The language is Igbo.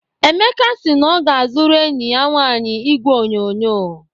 Emeka si na ọ ga-azụrụ enyi ya nwaanyị igwe onyonyo